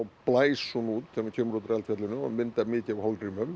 blæs hún út þegar hún kemur úr eldfjallinu og myndar mikið af